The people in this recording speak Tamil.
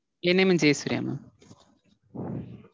N name Jaya Surya mam.